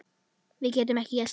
Við getum ekki slakað á.